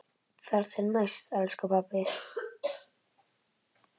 Þar til næst, elsku pabbi.